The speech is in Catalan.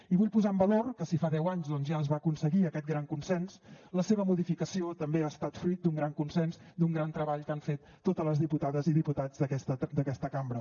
i vull posar en valor que si fa deu anys doncs ja es va aconseguir aquest gran consens la seva modificació també ha estat fruit d’un gran consens d’un gran treball que han fet totes les diputades i diputats d’aquesta cambra